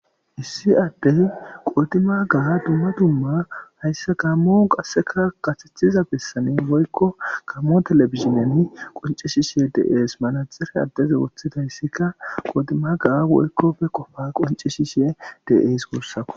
issi addey qoodima ga dumma dumma hayssa gaammo qasseka kasethiza bessanen woykko kammo telefizineni qonci shishe deees manajere addeze woththidayssika qoodima ga woykko be qofa qonci shishe de7es guussako